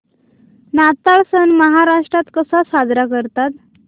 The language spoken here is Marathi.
नाताळ सण महाराष्ट्रात कसा साजरा करतात